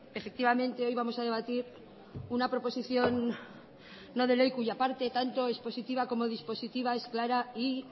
efectivamente hoy vamos a debatir una proposición no de ley cuya parte tanto expositiva como dispositiva es clara y